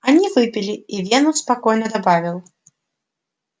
они выпили и венус спокойно добавил